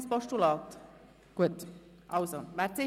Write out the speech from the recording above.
– Das ist nicht der Fall.